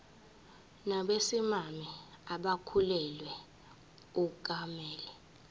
nabesimame abakhulelwe akumele